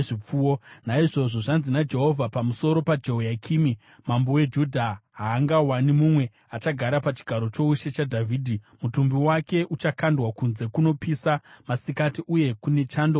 Naizvozvo, zvanzi naJehovha pamusoro paJehoyakimi mambo weJudha: Haangawani mumwe achagara pachigaro choushe chaDhavhidhi; mutumbi wake uchakandwa kunze kunopisa masikati uye kune chando usiku.